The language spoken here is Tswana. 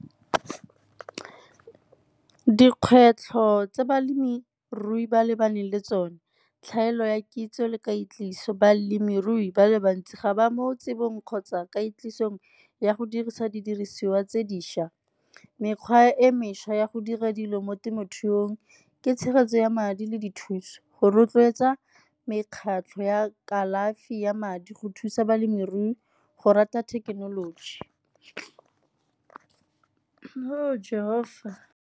Dikgwetlho tse balemirui ba lebaneng le tsonez tlhaelo ya kitso le kweetliso. Balemirui ba le bantsi ga ba mo tsebong kgotsa ka isong ya go dirisa didiriswa tse dišwa. Mekgwa e mešwa ya go dira dilo mo temothuong ke tshegetso ya madi le dithuso go rotloetsa mekgatlho ya kalafi ya madi go thusa balemirui go rata thekenoloji .